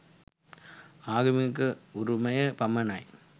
ආගමික උරුමය පමණයි